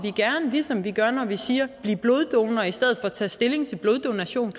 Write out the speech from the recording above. vi som vi gør når vi siger at blive bloddonorer i stedet for tage stilling til bloddonation